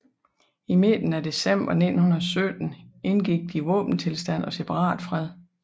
I midten af december 1917 indgik de våbenstilstand og separatfred